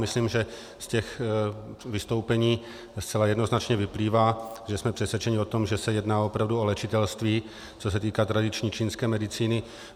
Myslím, že z těch vystoupení zcela jednoznačně vyplývá, že jsme přesvědčeni o tom, že se jedná opravdu o léčitelství, co se týká tradiční čínské medicíny.